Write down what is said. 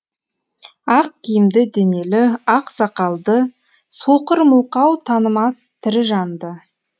ақ киімді денелі ақ сақалды соқыр мылқау танымас тірі жанды